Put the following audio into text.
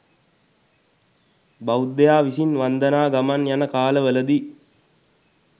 බෞද්ධයා විසින් වන්දනා ගමන් යන කාල වලදී